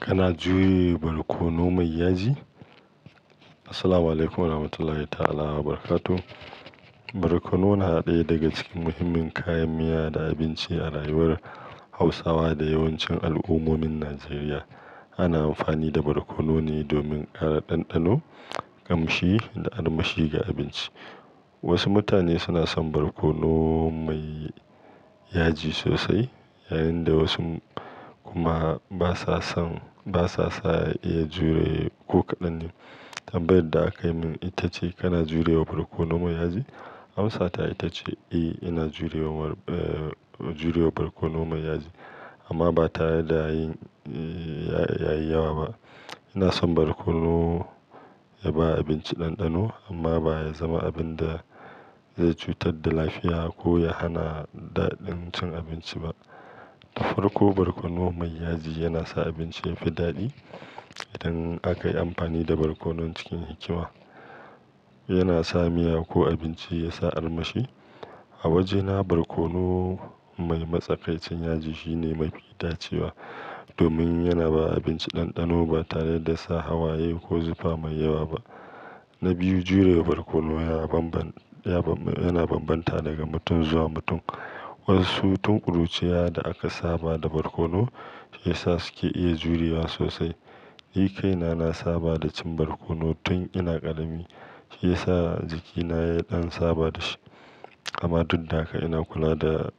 Kana juye barkono mai yaji? Assalamualaikum warahmatullahi ta'ala barakatuh. Barkono na daya daga cikin muhimmin kayan miya da abinci a rayuwar Hausawa da yawancin al'ummomin Najeriya. Ana amfani da barkono ne domin kara ɗanɗano, ƙamshi da armashi ga abinci. Wasu mutane suna son barkono mai yaji sosai, yayin da wasu kuma ba sa son-- ba sa iya jure ko kaɗan. Tambayar da aka min ita ce "Kana jurewa barkono mai yaji?" Amsa ta ita ce "Eh, ina jurewa, eh, jurewa barkono mai yaji", amma ba tare da yin, yi, yayi yawa ba. Ina son barkono ya ba abinci ɗanɗano amma ba ya zama abin da zai cutar da lafiya ko ya hana daɗin cin abinci ba. Ta farko, barkono mai yaji yana sa abinci yafi daɗi. Idan aka yi amfani da barkono cikin hikima, yana sa miya ko abinci yasa armashi. A wajena barkono mai matsakaicin yaji shine mafi itacewa domin yana ba abinci ɗanɗano ba tare da sa hawaye ko zufa mai yawa ba. Na biyu, jurewa barkono ya banban, yana banbanta daga mutum zuwa mutum. Wasu tun ƙuruciya da aka saba da barkono, shi ya sa su ke iya jurewa sosai. Ni kaina na saba da cin barkono tun ina ƙarami, shi ya sa jikina ya ɗan saba da shi. Amma duk da haka ina kula da